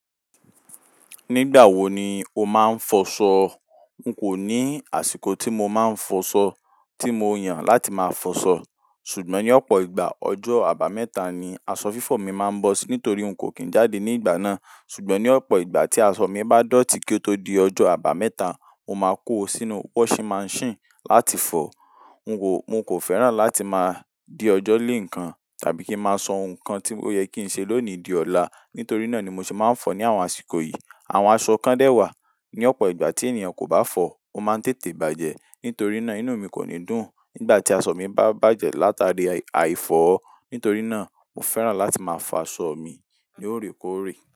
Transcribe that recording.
Nígbà wo ni o máa ń fọṣọ? N kò ní àsìkò tí mo máa ń fọṣọ tí mo yàn láti máa fọṣọ. Ṣùgbọ́n ní ọ̀pọ̀ ìgbà, ọjọ́ àbámẹ́ta ni aṣọ fífọ̀ mi máa ń bọ́ sí nítorí n kò kín jáde ní ìgbà náà. Ṣùgbọ́n ní ọ̀pọ̀ ìgbà tí aṣọ mi bá dọ̀tí kí ó tó di ọjọ́ àbámẹ́ta, mo máa kó o sínú washing machine láti fọ. N kò, n kò fẹ́ràn láti máa dé ọjọ́ lé ǹkan tàbí kí n máa sọ ǹkan tí ó yẹ kí ń ṣe lónìí di ọ̀la. Nítorí náà ni mo sì máa ń fọ ní àwọn àsìkò yìí. Àwọn aṣọ kan dé wa ní ọ̀pọ̀ ìgbà tí ènìyàn kò bá fọ, ó máa ń tètè bàjẹ́. Nítorí náà inú mi kò ní dùn nígbà tí aṣọ mi bá bàjẹ́ látàrí àìfọ̀. Nítorí náà mo fẹ́ràn láti máa fọ aṣọ mi ní òrékòórè.